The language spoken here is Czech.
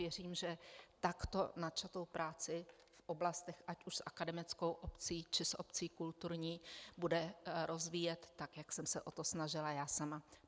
Věřím, že takto načatou práci v oblastech ať už s akademickou obcí, či s obcí kulturní bude rozvíjet tak, jak jsem se o to snažila já sama.